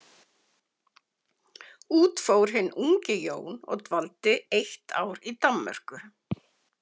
Út fór hinn ungi Jón og dvaldi eitt ár í Danmörku.